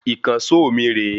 Ìkànsó mi rè é